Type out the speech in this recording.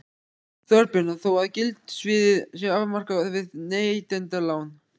Þorbjörn: Þó að gildissviðið sé afmarkað við neytendalán?